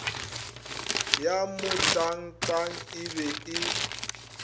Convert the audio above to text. ya motangtang e be e